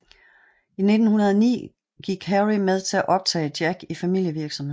I 1909 gik Harry med til at optage Jack i familievirksomheden